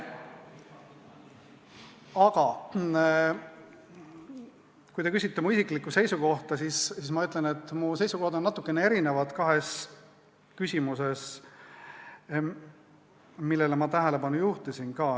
Aga kui te küsite mu isiklikku seisukohta, siis ma ütlen, et mu seisukohad on natukene erinevad kahes küsimuses, millele ma ka tähelepanu juhtisin.